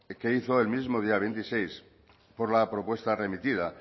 que hizo el mismo día veintiséis por la propuesta remitida